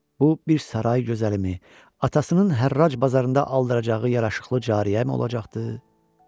Bu bir saray gözəlimi, atasının hərraj bazarında aldıracağı yaraşıqlı cariyəmi olacaqdı?